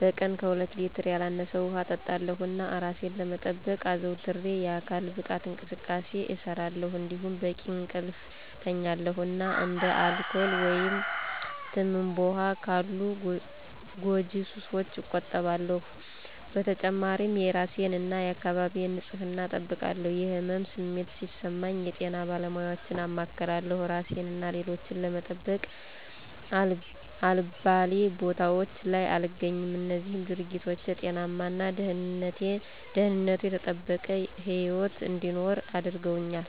በቀን ከሁለት ሌትር ያላነሰ ውሃ እጠጣለሁ፣ እና እራሴን ለመጠበቅ አዘውትሬ የአካል ብቃት እንቅስቃሴ እሰራለሁ። እንዲሁም በቂ እንቅልፍ እተኛለሁ እና እንደ አልኮል ወይም ትምባሆ ካሉ ጎጂ ሱሶች እቆጠባለሁ። በተጨማሪም የእራሴን እና የአካባቢዬን ንፅህና እጠብቃለሁ። የህመም ስሜት ሲሰማኝ የጤና ባለሙያወችን አማክራለሁ። እራሴን እና ሌሎችን ለመጠበቅ አልባሌ ቦታወች ላይ አልገኝም። እነዚህም ድርጊቶች ጤናማ እና ደህንነቱ የተጠበቀ ህይወት እንድኖር አድርገውኛል።